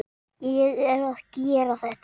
Ég er að gera þetta.